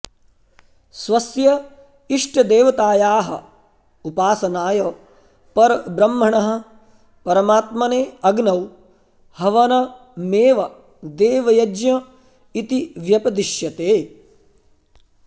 स्वस्य इष्टदेवतायाः उपासनाय परब्रह्मणः परमात्मने अग्नौ हवनमेव देवयज्ञ इति व्यपदिश्यते